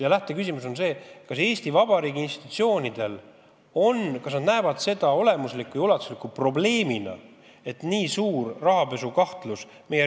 Ja lähteküsimus on praegu see, kas Eesti Vabariigi institutsioonid peavad seda olemuslikuks ja ulatuslikuks probleemiks, et meie riigis on tegu nii suure rahapesu kahtlusega.